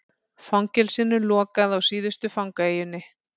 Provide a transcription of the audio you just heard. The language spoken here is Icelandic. Fangelsinu lokað á síðustu fangaeyjunni